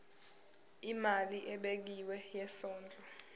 imali ebekiwe yesondlo